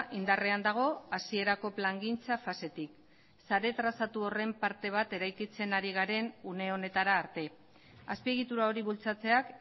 indarrean dago hasierako plangintza fasetik sare trazatu horren parte bat eraikitzen ari garen une honetara arte azpiegitura hori bultzatzeak